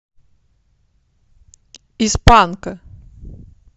из панка